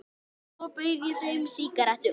Og svo bauð ég þeim sígarettu.